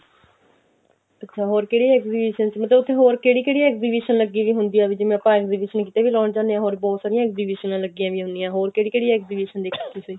ਅੱਛਾ ਹੋਰ ਕਿਹੜੀ exhibition ਚ ਮਤਲਬ ਉੱਥੇ ਹੋਰ ਕਿਹੜੀ ਕਿਹੜੀ exhibition ਲੱਗੀ ਵੀ ਹੁੰਦੀ ਆ ਵੀ ਜਿਵੇਂ ਆਪਾਂ exhibition ਕੀਤੇ ਵੀ ਲਾਉਂਣ ਜਾਂਦੇ ਆ ਹੋਰ ਬਹੁਤ ਸਾਰੀਆਂ exhibition ਲੱਗੀਆਂ ਵੀ ਹੁਣੀਆਂ ਹੋਰ ਕਿਹੜੀ ਕਿਹੜੀ exhibition ਦੇਖੀ ਤੁਸੀਂ